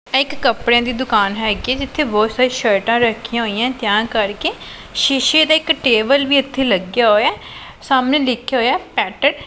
ਇਹ ਇੱਕ ਕਪੜਿਆਂ ਦੀ ਦੁਕਾਨ ਹੈਗੀ ਹੈ ਜਿੱਥੇ ਬਹੁਤ ਸਾਰੀ ਸ਼ਰਟਾਂ ਰੱਖੀਆਂ ਹੋਈਆਂ ਤਿਆਂ ਕਰਕੇ ਸ਼ੀਸ਼ੇ ਦਾ ਇਕ ਟੇਬਲ ਵੀ ਇੱਥੇ ਲੱਗਿਆ ਹੋਇਆ ਹੈ ਸਾਹਮਣੇ ਲਿਖ਼ਿਆ ਹੋਇਆ ਹੈ ਪੇਟ ।